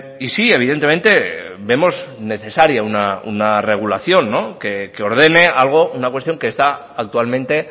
y sí evidentemente vemos necesaria una regulación que ordene algo una cuestión que está actualmente